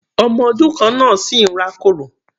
Ọmọ ọdún kan náà sì ń rá kòrò.